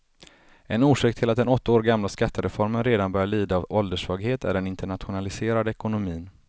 En orsak till att den åtta år gamla skattereformen redan börjar lida av ålderssvaghet är den internationaliserade ekonomin.